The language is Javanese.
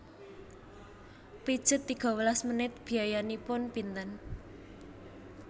Pijet tiga welas menit biayanipun pinten